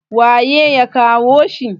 waye ya kawo shi!